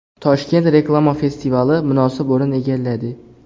Toshkent reklama festivali munosib o‘rin egalladi.